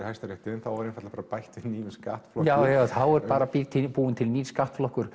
Hæstarétti en þá var einfaldlega bætt við nýjum skattflokki já já þá er bara búinn til nýr skattflokkur